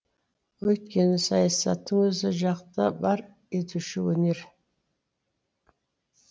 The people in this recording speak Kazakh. өйткені саясаттың өзі жақты бар етуші өнер